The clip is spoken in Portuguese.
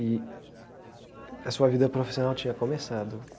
E a sua vida profissional tinha começado.